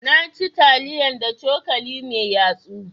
Na ci taliyan da cokali mai yatsu.